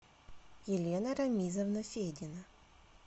елена рамизовна федина